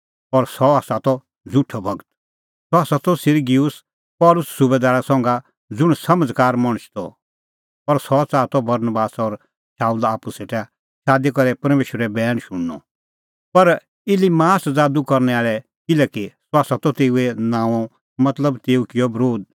सह त Sergius Paulus सुबैदारा संघा ज़ुंण समझ़कार मणछ त और सह च़ाहा त बरनबास और शाऊला आप्पू सेटा शादी करै परमेशरो बैण शुणनअ